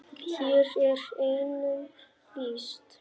Hér er einum lýst.